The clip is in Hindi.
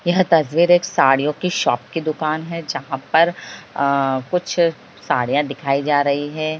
यह तस्वीर एक साड़ियों की शॉप की दुकान है जहाँ पर अ कुछ साड़ियाँ दिखाई जा रही है।